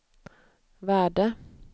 värde